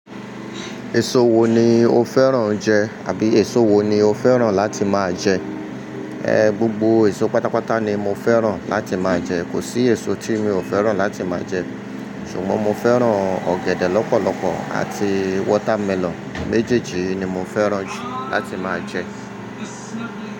Èso wo ni o fẹ́ràn jẹ? Àbí èso wo ni o fẹ́ràn láti máa jẹ? Ehn, gbogbo èso pátápátá ni mo fẹ́ràn láti máa jẹ. Kò sí èso tí mi ò fẹ́ràn láti máa jẹ. Ṣùgbọ́n mo fẹ́ràn ọ̀gẹ̀dẹ̀ lọ́pọ̀lọpọ̀ àti watermelon. Méjèjì yi ni mo fẹ́ràn jù láti máa jẹ.